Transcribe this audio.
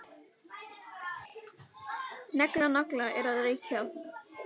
Negla nagla er að reykja.